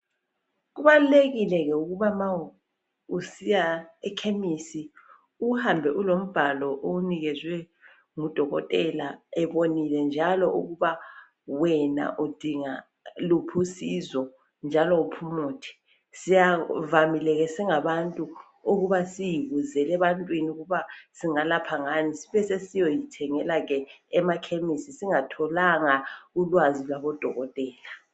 Kubalulekile ke ukuba ma usiya ekhemesi uhambe ulombhalo owunikezwe ngudokotela ebonile njalo ukuba wena udinga luphi usizo njalo uphi umuthi. Sivamile singabantu ukuba sizibuzele ebantwini ukuba singalapha ngani sibe sisiyazithengela emakhemesi singatholanga ulwazi labodokotela.